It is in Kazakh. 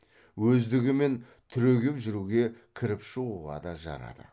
өздігімен түрегеп жүруге кіріп шығуға да жарады